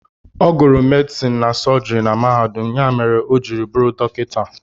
Ọ gụrụ medison na sọjiri na mahadum ya mere o ji bụrụ dọkịta.